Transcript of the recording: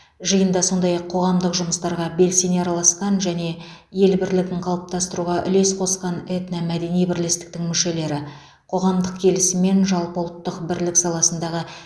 жиында сондай ақ қоғамдық жұмыстарға белсене араласқан және ел бірлігін қалыптастыруға үлес қосқан этномәдени бірлестіктің мүшелері қоғамдық келісім мен жалпыұлттық бірлік саласындағы